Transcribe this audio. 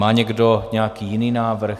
Má někdo nějaký jiný návrh?